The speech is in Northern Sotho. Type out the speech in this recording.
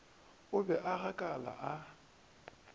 o be a gakala a